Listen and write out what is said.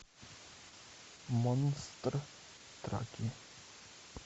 монстр траки